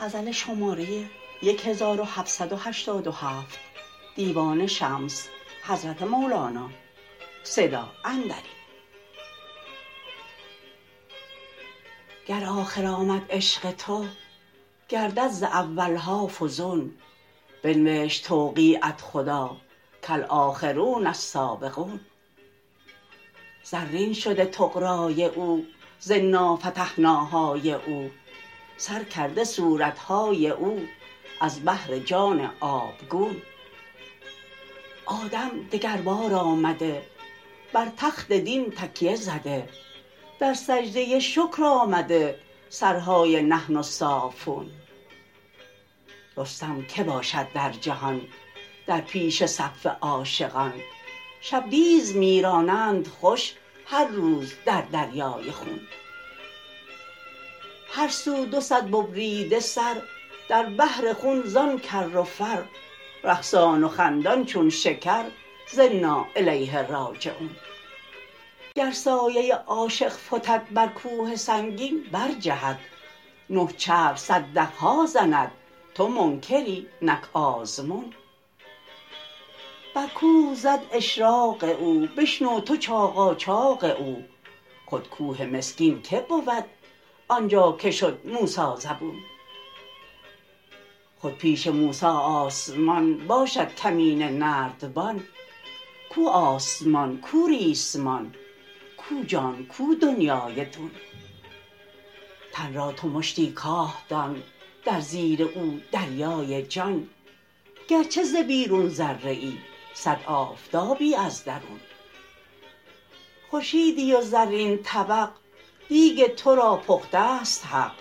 گر آخر آمد عشق تو گردد ز اول ها فزون بنوشت توقیعت خدا کالآخرون السابقون زرین شده طغرای او ز انا فتحناهای او سر کرده صورت های او از بحر جان آبگون آدم دگربار آمده بر تخت دین تکیه زده در سجده شکر آمده سرهای نحن الصافون رستم که باشد در جهان در پیش صف عاشقان شبدیز می رانند خوش هر روز در دریای خون هر سو دو صد ببریده سر در بحر خون زان کر و فر رقصان و خندان چون شکر ز انا الیه راجعون گر سایه عاشق فتد بر کوه سنگین برجهد نه چرخ صدق ها زند تو منکری نک آزمون بر کوه زد اشراق او بشنو تو چاقاچاق او خود کوه مسکین که بود آن جا که شد موسی زبون خود پیش موسی آسمان باشد کمینه نردبان کو آسمان کو ریسمان کو جان کو دنیای دون تن را تو مشتی کاه دان در زیر او دریای جان گرچه ز بیرون ذره ای صد آفتابی از درون خورشیدی و زرین طبق دیگ تو را پخته است حق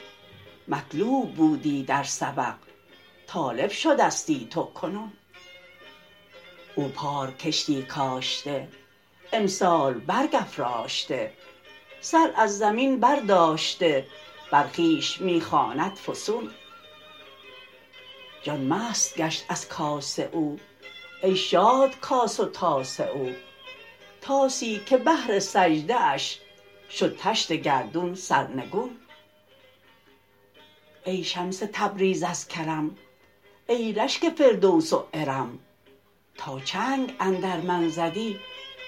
مطلوب بودی در سبق طالب شدستی تو کنون او پار کشتی کاشته امسال برگ افراشته سر از زمین برداشته بر خویش می خواند فسون جان مست گشت از کاس او ای شاد کاس و طاس او طاسی که بهر سجده اش شد طشت گردون سرنگون ای شمس تبریز از کرم ای رشک فردوس و ارم تا چنگ اندر من زدی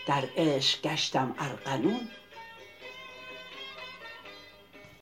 در عشق گشتم ارغنون